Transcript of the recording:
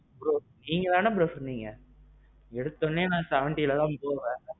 bro நீங்க தானே bro சொன்னீங்க? ஏடுதொன்னே நான் எழுவதுல தான் போவேன்.